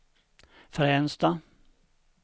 Fränsta